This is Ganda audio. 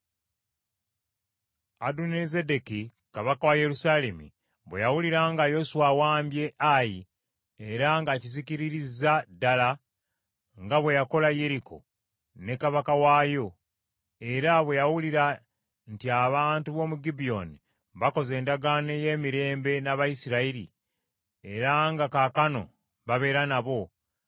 Adonizedeki kabaka wa Yerusaalemi bwe yawulira nga Yoswa awambye Ayi era ng’akizikiririzza ddala nga bwe yakola Yeriko ne kabaka waayo, era bwe yawulira nti abantu b’omu Gibyoni bakoze endagaano y’emirembe n’Abayisirayiri era nga kaakano babeera nabo,